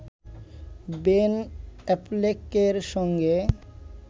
Ben অ্যাফ্লেকের সঙ্গে